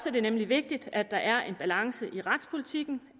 er det nemlig vigtigt at der er en balance i retspolitikken